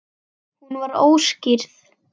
Hún var óskírð.